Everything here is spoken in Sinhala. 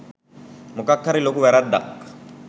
මොකක්හරි ලොකු වැරද්දක්